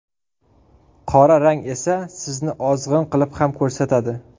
Qora rang esa sizni ozg‘in qilib ham ko‘rsatadi.